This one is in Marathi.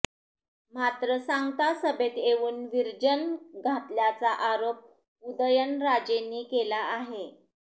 मात्र सांगता सभेत येऊन विर्जन घातल्याचा आरोप उदयनराजेंनी केला आहे